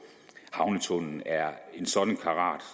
havnetunnelen er af en sådan karat